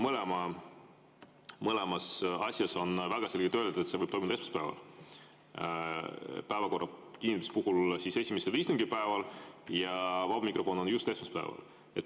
Mõlema asja kohta on väga selgelt öeldud, et see võib toimuda esmaspäeval või päevakorra kinnitamise puhul siis esimesel istungipäeval ja vaba mikrofon just esmaspäeval.